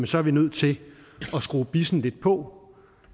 så er vi nødt til at skrue bissen lidt på